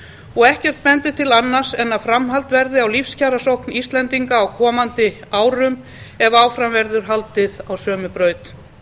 og ekkert bendir til annars en að framhald verði á lífskjarasókn íslendinga á komandi árum ef áfram verður haldið á sömu braut